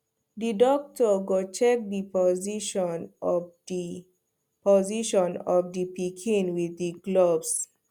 the doctor go check the position of the position of the pikin with him gloves